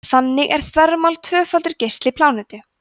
þannig er þvermál tvöfaldur geisli plánetu